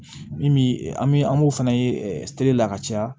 Min bi an bi an b'o fɛnɛ ye la ka caya